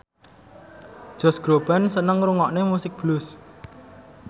Josh Groban seneng ngrungokne musik blues